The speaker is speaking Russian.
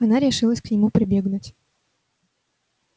она решилась к нему прибегнуть